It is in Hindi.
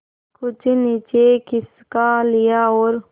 कुछ नीचे खिसका लिया और